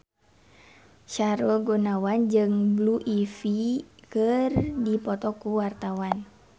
Sahrul Gunawan jeung Blue Ivy keur dipoto ku wartawan